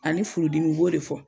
Ani furudimi n b'o de fɔ.